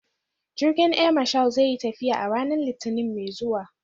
Jirgin Air Marshal zai yi tafiya a ranar Litinin mai zuwa.